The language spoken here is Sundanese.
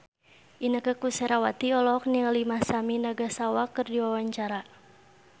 Inneke Koesherawati olohok ningali Masami Nagasawa keur diwawancara